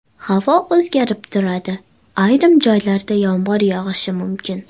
Havo o‘zgarib turadi, ayrim joylarda yomg‘ir yog‘ishi mumkin.